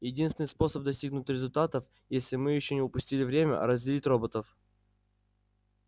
единственный способ достигнуть результатов если мы ещё не упустили время разделить роботов